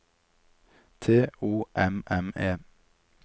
T O M M E